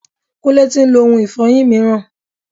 Kúnlé tí ń lo ohun ifọyin mìíràn.